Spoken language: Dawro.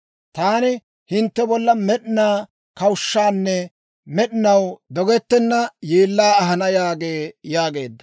Taani hintte bolla med'inaa kawushshaanne med'inaw dogettenna yeellaa ahana yaagee» yaageedda.